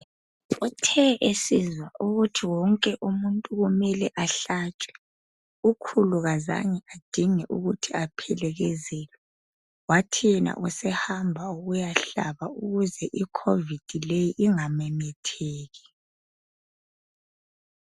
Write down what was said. Uthe esizwa ukuthi wonke umuntu kumela ahlatshwe, ukhulu kazange adinge ukuthi aphelekezelwe. Wathi yena usehamba ukuyahlaba ukuze ikhovidi leyi ingamemetheki.